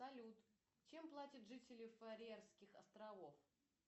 салют чем платят жители фарерских островов